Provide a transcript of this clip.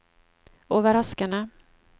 overraskende